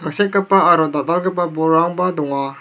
sekgipa aro dal·dalgipa bolrangba donga.